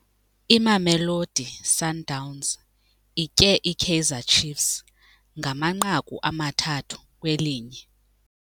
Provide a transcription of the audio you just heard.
Imamelosi Sundowns itye iKaizer Chiefs ngamanqaku amathathu kwelinye.